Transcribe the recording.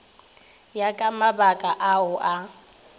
ya ka mabaka ao a